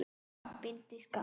Bindið skakkt.